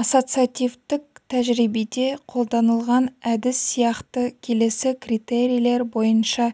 ассоциативтік тәжірибеде қолданылған әдіс сияқты келесі критерийлер бойынша